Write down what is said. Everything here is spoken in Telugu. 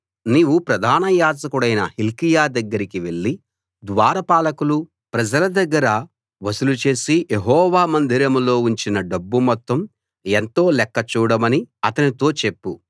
నీవు ప్రధాన యాజకుడైన హిల్కీయా దగ్గరికి వెళ్లి ద్వారపాలకులు ప్రజల దగ్గర వసూలు చేసి యెహోవా మందిరంలో ఉంచిన డబ్బు మొత్తం ఎంతో లెక్క చూడమని అతనితో చెప్పు